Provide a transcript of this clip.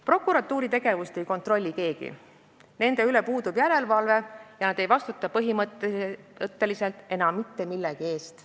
Prokuratuuri tegevust ei kontrolli keegi, nende üle puudub järelevalve ja põhimõtteliselt ei vastuta nad enam mitte millegi eest.